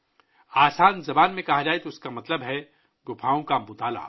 سادہ زبان میں اس کا مطلب ہے غاروں کا مطالعہ